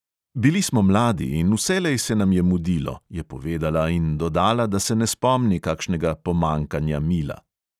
Bili smo mladi in vselej se nam je mudilo, je povedala in dodala, da se ne spomni kakšnega pomanjkanja mila.